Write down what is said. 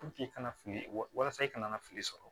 i kana fili walisa i kana na fili sɔrɔ